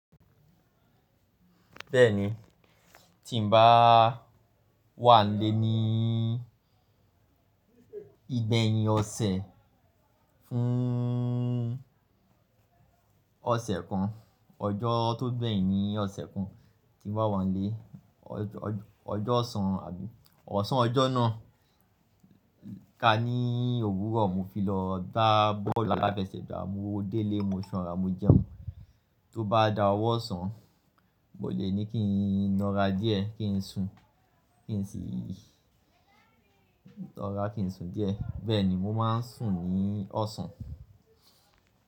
Bẹ́ẹ̀ni, tí n bá wà nílé ní ìgbẹ́yìn ọ̀sẹ̀ fún ọ̀sẹ̀ kan, ọjọ́ tó gbẹ̀yìn ní ọ̀sẹ̀ kan tí n bá wà nílé, ọjọ́ ọ̀sán àbí ọ̀sán ọjọ́ náà, ká ní òwúrọ̀ mo fi lọ dá bọ́ọ̀lù aláfẹ́sẹ̀gbà, mo délé, mo ṣọ̀ra, mo jẹun. Tó bá dà wọ́ ọ̀sán, mo lè ní kí n lọ ra díẹ̀ kí n sùn, kí n sì lọ ra kí n sùn díẹ̀. Bẹ́ẹ̀ni, mo máa ń sùn ní ọ̀sán.